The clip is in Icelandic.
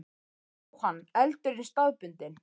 Jóhann: Eldurinn staðbundinn?